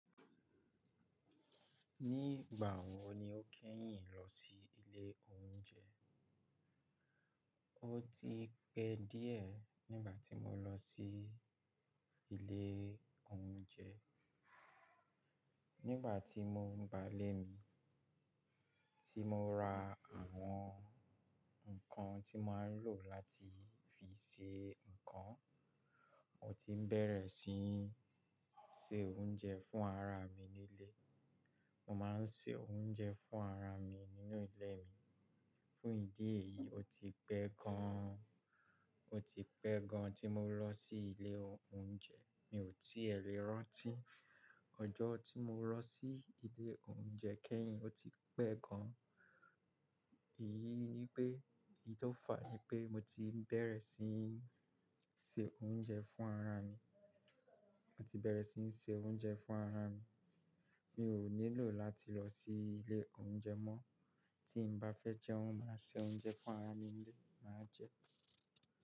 Nígbà wo ni o kẹ́yìn lọ sí ilé oúnjẹ? O ti pẹ́ díẹ̀ nígbà tí mo lọ sí ilé oúnjẹ. Nígbà tí mo ń wá ilé mi, tí mo ra àwọn nǹkan tí mo máa ń lò láti fi se nǹkan. Mo ti bẹ̀rẹ̀ sí ní se oúnjẹ fún ara mi ní ilé. Mo máa ń se oúnjẹ fún ara mi nínú ilé mi. Fún ìdí èyí, o ti pẹ́ gan, o ti pẹ́ gan tí mo lọ sí ilé oúnjẹ. Mi ò tí è lè rántí ọjọ́ tí mo lọ sí ilé oúnjẹ kẹ́yìn, ó ti pẹ́ gan. Èyí ni pé, èyí tó fàá ni pé mo ti bẹ̀rẹ̀ sí ní se oúnjẹ fún ara mi. Mo ti bẹ̀rẹ̀ sí ní se oúnjẹ fún ara mi. Mi ò nílò láti lọ sí ilé oúnjẹ mọ́. Tí n bá fẹ́ jẹun, màá se oúnjẹ fún ara mi ní ilé, màá jẹ ẹ́.